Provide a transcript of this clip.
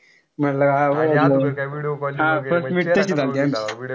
म्हणलं हा वळखल. हा first meet तशी झालती आमची.